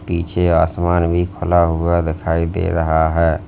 पीछे आसमान भी खुला हुआ दिखाई दे रहा है।